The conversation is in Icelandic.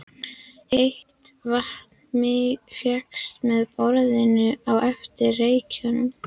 Heitt vatn fékkst með borun á Efri-Reykjum í